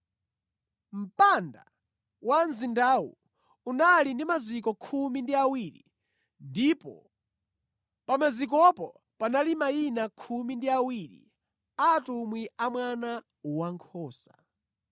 Mpanda wa mzindawu unali ndi maziko khumi ndi awiri ndipo pa mazikopo panali mayina khumi ndi awiri a atumwi a Mwana Wankhosa.